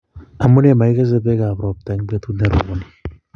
amune makikese pekap ropta eng petut neroponi